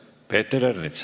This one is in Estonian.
Peeter Ernits.